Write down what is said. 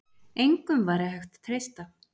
Engum væri hægt að treysta.